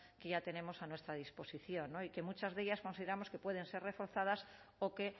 que ya tenemos a nuestra disposición y que muchas de ellas consideramos que pueden ser reforzadas o que